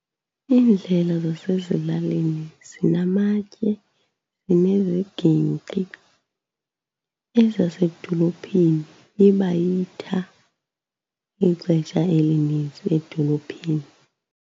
Iindlela zasezilalini zinamatye, zinezigingqi, ezasedolophini iba yitha ixesha elinintsi edolophini.